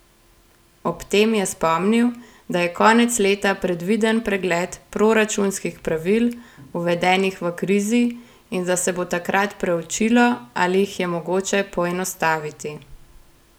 Ob tem je spomnil, da je konec leta predviden pregled proračunskih pravil, uvedenih v krizi, in da se bo takrat preučilo, ali jih je mogoče poenostaviti.